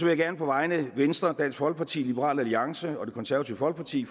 jeg gerne på vegne af venstre dansk folkeparti liberal alliance og det konservative folkeparti